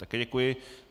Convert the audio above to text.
Také děkuji.